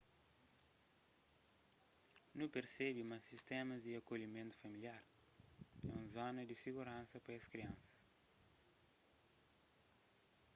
nu persebe ma sistémas di akolhimentu familiar é un zona di siguransa pa es kriansas